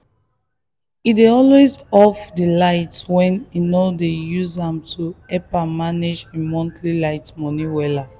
he dey always off the light wey he no dey use to help am manage him monthly light money wella.